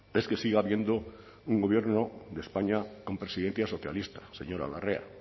es que siga habiendo un gobierno de españa con presidencia socialista señora larrea